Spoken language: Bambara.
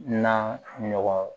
Na ɲɔgɔn